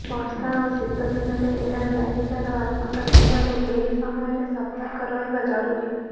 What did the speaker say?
ବର୍ଷା ଓ ଶୀତ ଦିନରେ ଏହା ବ୍ୟାପିବାର ଆଶଙ୍କା ଥିବାରୁ ଏହି ସମୟରେ ସତର୍କ ରହିବା ଜରୁରୀ